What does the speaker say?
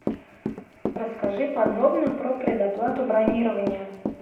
расскажи подробно про предоплату бронирования